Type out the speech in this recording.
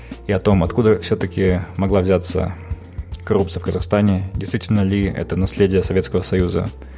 и о том откуда все таки могла взяться коррупция в казахстане действительно ли это наследие советского союза